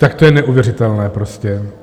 Tak to je neuvěřitelné prostě!